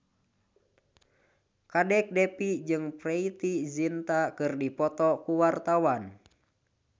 Kadek Devi jeung Preity Zinta keur dipoto ku wartawan